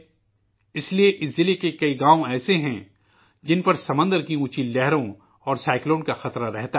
اسلئے اس ضلع کے کئی گاؤں ایسے ہیں، جن پر سمندر کی اونچی لہروں اور طوفان کا خطرہ رہتا ہے